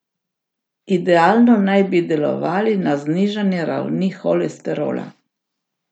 Idealno naj bi delovali na znižanje ravni holesterola.